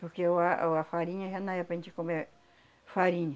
Porque o a o a farinha já não é para gente comer farinha.